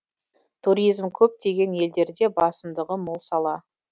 туризм көптеген елдерде басымдығы мол сала